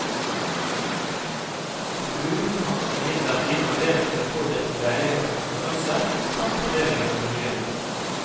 Kommunen har imidlertid anledning til å påvirke leilighetenes størrelse, samt fordelingen av boligene.